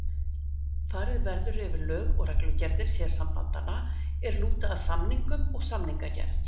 Farið verður yfir lög og reglugerðir sérsambandanna er lúta að samningum og samningagerð.